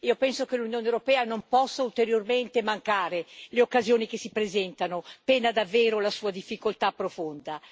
Penso che l'Unione europea non possa ulteriormente mancare le occasioni che si presentano, pena davvero la sua difficoltà profonda.